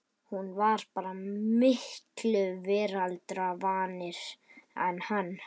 Hún var bara miklu veraldarvanari en hann.